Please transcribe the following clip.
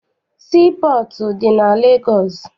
Sii pọọtụ dị na Legọọsị.